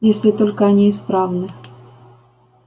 если только они исправны